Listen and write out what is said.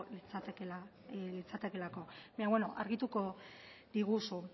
litzatekeelako baina beno argituko diguzu